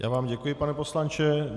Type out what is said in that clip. Já vám děkuji, pane poslanče.